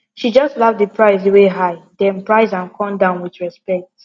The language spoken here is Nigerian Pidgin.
she just laugh the price wey high then price am come down with respect